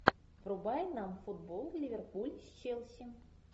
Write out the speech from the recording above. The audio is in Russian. врубай нам футбол ливерпуль с челси